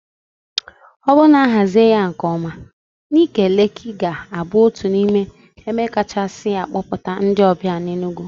O bụrụ na a hazie ya nkeọma, Ńịké Leekị ga-abụ otu n'ime ebe kachasị a kpọta ndị ọbịa n'Enugwu.